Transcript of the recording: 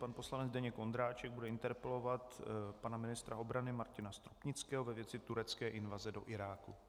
Pan poslanec Zdeněk Ondráček bude interpelovat pana ministra obrany Martina Stropnického ve věci turecké invaze do Iráku.